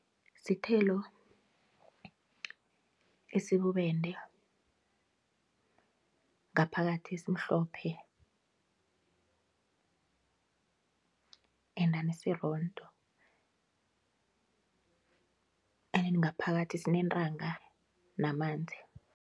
Sithelo esibubende ngaphakathi esimhlophe endani esirondo endeni ngaphakathi sinentanga namanzi.